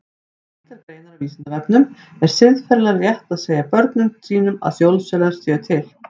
Tengdar greinar á Vísindavefnum Er siðferðilega rétt að segja börnum sínum að jólasveinar séu til?